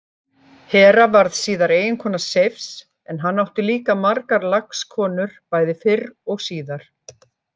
Hera varð síðar eiginkona Seifs en hann átti líka margar lagskonur bæði fyrr og síðar.